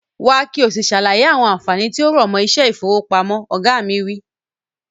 Wá ki o si sàlàyé àwọn ànfàní tí ó rọ̀mọ́ iṣẹ́ ifowopamọ. Oga mi wi.